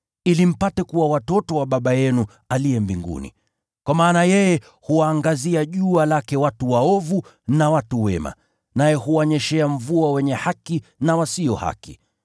ili mpate kuwa watoto wa Baba yenu aliye mbinguni. Kwa maana yeye huwaangazia jua lake watu waovu na watu wema, naye huwanyeshea mvua wenye haki na wasio haki.